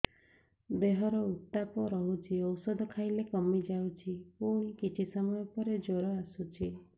ଦେହର ଉତ୍ତାପ ରହୁଛି ଔଷଧ ଖାଇଲେ କମିଯାଉଛି ପୁଣି କିଛି ସମୟ ପରେ ଜ୍ୱର ଆସୁଛି